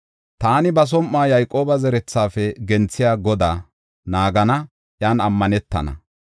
Taani ba som7uwa Yayqooba zerethafe genthiya Godaa naagana; iyan ammanetana.